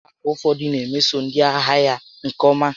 Ụlọ akụ ụfọdụ na emeso ndị ahịa ha nke ọma karịa ụlọ akụ ndị ọzọ